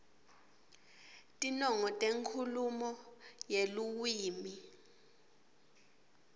tinongo tenkhulumo yeluwimi